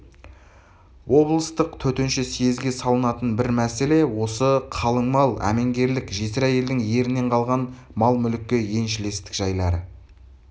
облыстық төтенше съезге салынатын бір мәселе осы қалың мал әменгерлік жесір әйелдің ерінен қалған мал-мүлікке еншілестік жайлары